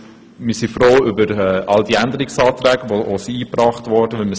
Wir sind froh über die Änderungsanträge, die eingebracht wurden.